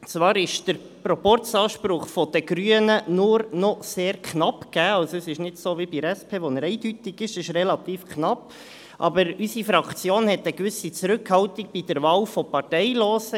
Zwar ist der Proporzanspruch der Grünen nur noch sehr knapp gegeben – es ist also nicht so wie bei der SP, wo dieser eindeutig ist, sondern relativ knapp –, aber unsere Fraktion hat eine gewisse Zurückhaltung bei der Wahl von Parteilosen.